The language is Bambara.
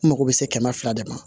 N mago bɛ se kɛmɛ fila de ma